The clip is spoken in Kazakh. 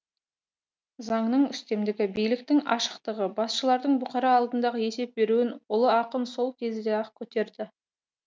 заңның үстемдігі биліктің ашықтығы басшының бұқара алдындағы есеп беруін ұлы ақын сол кезде ақ көтерді